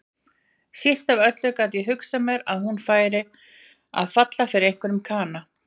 Síst af öllu gat ég hugsað mér að hún færi að falla fyrir einhverjum kana.